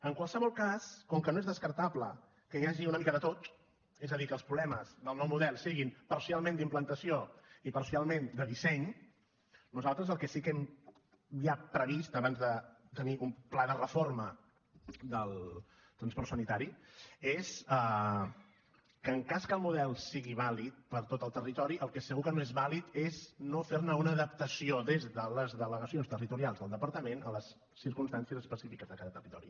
en qualsevol cas com que no es descartable que hi hagi una mica de tot és a dir que els problemes del nou model siguin parcialment d’implantació i parcialment de disseny nosaltres el que sí que hem ja previst abans de tenir un pla de reforma del transport sanitari és que en cas que el model sigui vàlid per a tot el territori el que segur que no és vàlid és no fer ne una adaptació des de les delegacions territorials del departament a les circumstàncies específiques de cada territori